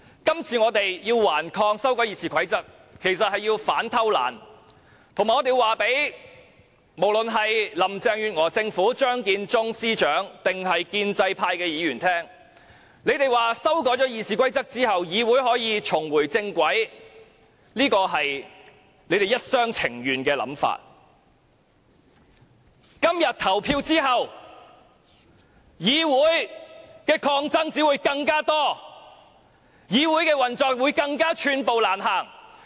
今次我們頑抗修改《議事規則》，目的是要反偷懶，以及告訴林鄭月娥特首、張建宗司長或建制派議員，修改《議事規則》後議會可以重回正軌，只是他們一廂情願的想法，今天投票後，議會抗爭只會更多，議會運作會更寸步難行。